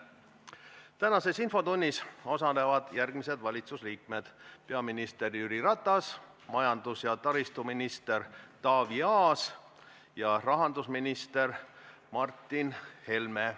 Tänases infotunnis osalevad järgmised valitsuse liikmed: peaminister Jüri Ratas, majandus- ja taristuminister Taavi Aas ja rahandusminister Martin Helme.